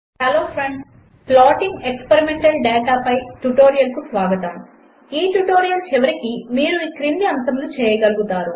hello friends plotting experimental data పై ట్యుటోరియల్కు స్వాగతం 1ఈ ట్యుటోరియల్ చివరికి మీరు ఈ క్రింది అంశములు చేయగలుగుతారు